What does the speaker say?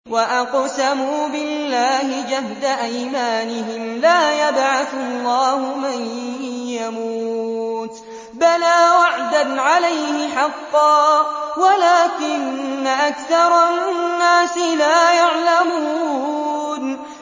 وَأَقْسَمُوا بِاللَّهِ جَهْدَ أَيْمَانِهِمْ ۙ لَا يَبْعَثُ اللَّهُ مَن يَمُوتُ ۚ بَلَىٰ وَعْدًا عَلَيْهِ حَقًّا وَلَٰكِنَّ أَكْثَرَ النَّاسِ لَا يَعْلَمُونَ